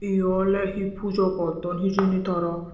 ye oley hi pujo gotton hijeni tara.